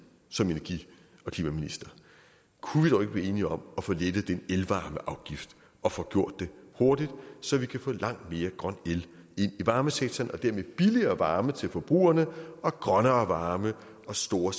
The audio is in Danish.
som energi og klimaminister kunne vi dog ikke blive enige om at få lettet den elvarmeafgift og få gjort det hurtigt så vi kan få langt mere grøn el ind i varmesektoren og dermed billigere varme til forbrugerne og grønnere varme og store